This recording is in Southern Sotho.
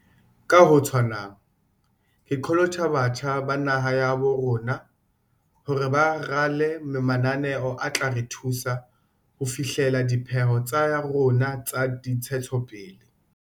Ka ho tshwanang, ke qholotsa batjha ba naha ya habo rona hore ba rale mananeo a tla re thusa ho fi hlella dipheo tsa rona tsa dintshetsopele.